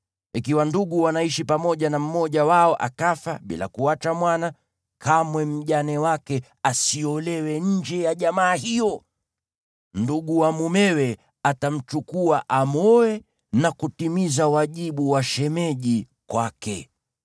Ikiwa ndugu wanaishi pamoja na mmoja wao akafa bila kuacha mwana, kamwe mjane wake asiolewe nje ya jamaa hiyo. Ndugu wa mumewe atamchukua, amwoe na kutimiza wajibu wa shemeji kwake.